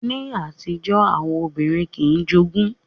Ní àtijọ́, àwọn obìnrin kìí jogún